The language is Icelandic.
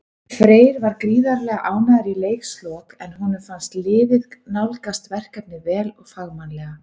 Freyr var gríðarlega ánægður í leikslok, en honum fannst liðið nálgast verkefnið vel og fagmannlega.